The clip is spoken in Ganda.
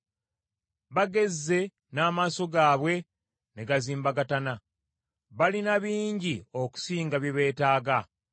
Bagezze n’amaaso gaabwe ne gazimbagatana; balina bingi okusinga bye beetaaga.